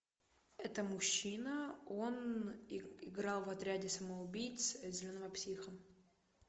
это мужчина он играл в отряде самоубийц зеленого психа